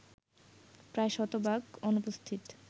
প্রায় শতভাগ অনুপস্থিত